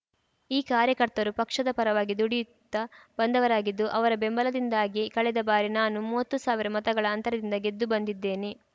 ಈ ಕಾರ್ಯಕರ್ತರು ಪಕ್ಷದ ಪರವಾಗಿ ದುಡಿಯುತ್ತಾ ಬಂದವರಾಗಿದ್ದು ಅವರ ಬೆಂಬಲದಿಂದಾಗಿಯೇ ಕಳೆದ ಬಾರಿ ನಾನು ಮೂವತ್ತು ಸಾವಿರ ಮತಗಳ ಅಂತರದಿಂದ ಗೆದ್ದು ಬಂದಿದ್ದೇನೆ